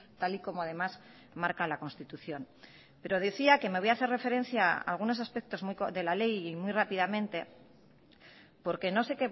tal y como además marca la constitución pero decía que me voy a hacer referencia a algunos aspectos de la ley y muy rápidamente porque no sé